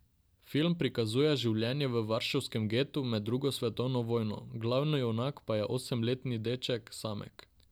Film prikazuje življenje v varšavskem getu med drugo svetovno vojno, glavni junak pa je osemletni deček Samek.